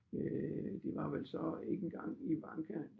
Øh det var vel så ikke engang Ivanka